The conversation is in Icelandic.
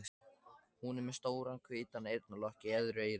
Hún er með stóran hvítan eyrnalokk í öðru eyra.